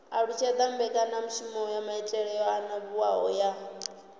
alutshedza mbekanyamaitele yo anavhuwaho ya